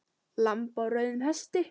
Lamb á rauðum hesti